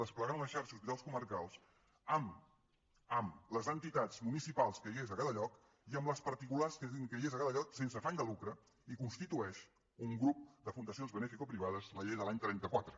desplegant una xarxa d’hospitals comarcals amb les entitats municipals que hi hagués a cada lloc i amb les particulars que hi hagués a cada lloc sense afany de lucre i constitueix un grup de fundacions beneficoprivades la llei de l’any trenta quatre